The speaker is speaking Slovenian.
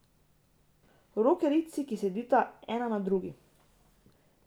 Rokerici, ki sedita ena na drugi.